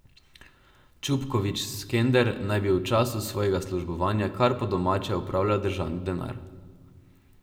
Čupkovič Skender naj bi v času svojega službovanja kar po domače upravljal državni denar.